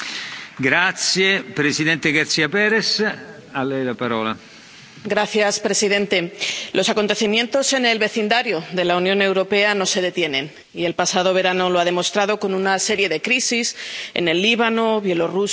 Señor presidente, los acontecimientos en el vecindario de la Unión Europea no se detienen, y el pasado verano lo ha demostrado con una serie de crisis en el Líbano, Bielorrusia, Mali y el Mediterráneo oriental.